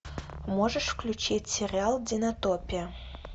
можешь включить сериал динотопия